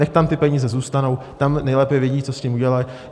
Nechť tam ty peníze zůstanou, tam nejlépe vědí, co s tím udělají.